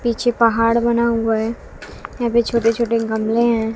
पीछे पहाड़ बना हुआ है यहां पे छोटे छोटे गमले हैं।